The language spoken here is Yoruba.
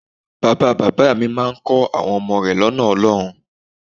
Bàba bàbá à mi kọ́ àwọn ọmọ rẹ̀ lọ́nà Ọlọ́run.